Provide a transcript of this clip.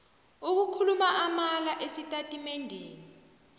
ukukhuluma amala esitatimendeni